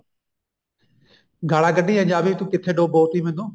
ਗਾਲਾ ਕੱਡੀਆ ਜਾ ਵੀ ਕਿੱਥੇ ਡਬੋ ਤੀ ਮੈਨੂੰ